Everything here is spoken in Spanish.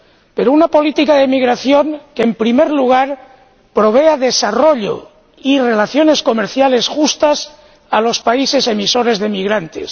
Pero una política de emigración que, en primer lugar, provea de desarrollo y relaciones comerciales justas a los países emisores de emigrantes.